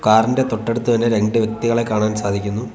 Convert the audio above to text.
Car ഇന്റെ തൊട്ടടുത്ത് തന്നെ രണ്ടു വ്യക്തികളെ കാണാൻ സാധിക്കുന്നു.